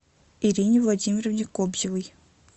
ирине владимировне кобзевой